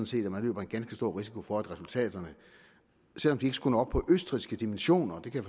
set at man løber en ganske stor risiko for at resultaterne selv om de ikke skulle komme op på østrigske dimensioner det kan